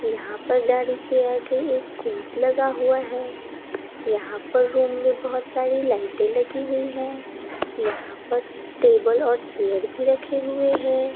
यहाँ पर गाड़ी के आगे एक कूट लगा हुआ है यहाँ पर रूम में बहुत सारी लाइटें लगी हुई है यहाँ पर टेबल और चेयर भी रखे हुए हैं।